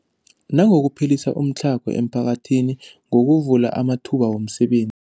Nangokuphelisa umtlhago emiphakathini ngokuvula amathuba wemiseben